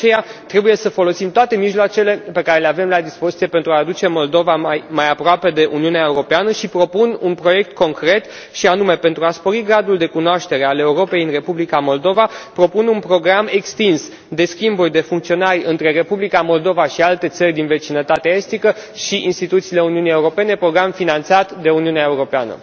De aceea, trebuie să folosim toate mijloacele pe care le avem la dispoziție pentru a aduce Moldova mai aproape de Uniunea Europeană, și propun un proiect concret, și anume pentru a spori gradul de cunoaștere a Europei în Republica Moldova, propun un program extins de schimburi de funcționari între Republica Moldova și alte țări din vecinătatea estică și instituțiile Uniunii Europene, program finanțat de Uniunea Europeană.